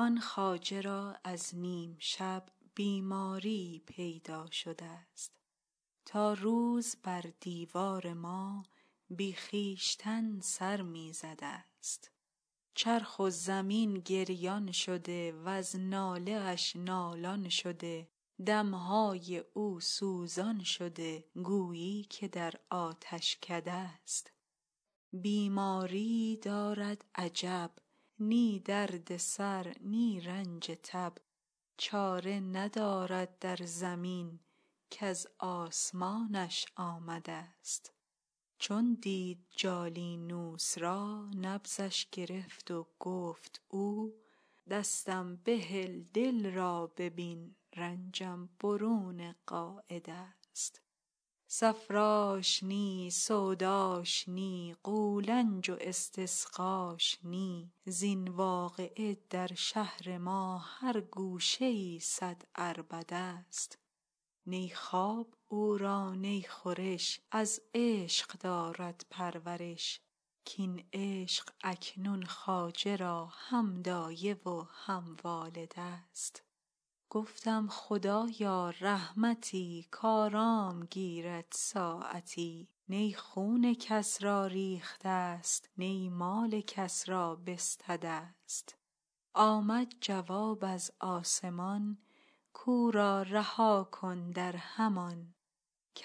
آن خواجه را از نیم شب بیماریی پیدا شده ست تا روز بر دیوار ما بی خویشتن سر می زده ست چرخ و زمین گریان شده وز ناله اش نالان شده دم های او سوزان شده گویی که در آتشکده ست بیماریی دارد عجب نی درد سر نی رنج تب چاره ندارد در زمین کز آسمانش آمده ست چون دید جالینوس را نبضش گرفت و گفت او دستم بهل دل را ببین رنجم برون قاعده ست صفراش نی سوداش نی قولنج و استسقاش نی زین واقعه در شهر ما هر گوشه ای صد عربده ست نی خواب او را نی خورش از عشق دارد پرورش کاین عشق اکنون خواجه را هم دایه و هم والده ست گفتم خدایا رحمتی کآرام گیرد ساعتی نی خون کس را ریخته ست نی مال کس را بستده ست آمد جواب از آسمان کو را رها کن در همان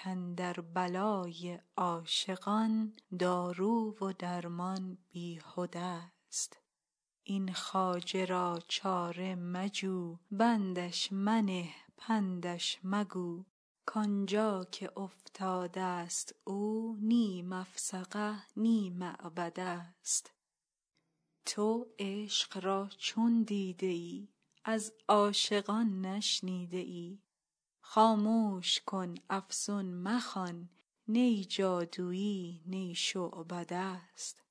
کاندر بلای عاشقان دارو و درمان بیهدست این خواجه را چاره مجو بندش منه پندش مگو کان جا که افتادست او نی مفسقه نی معبده ست تو عشق را چون دیده ای از عاشقان نشنیده ای خاموش کن افسون مخوان نی جادوی نی شعبده ست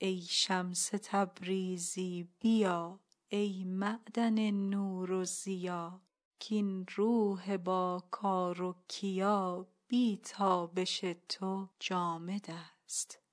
ای شمس تبریزی بیا ای معدن نور و ضیا کاین روح باکار و کیا بی تابش تو جامدست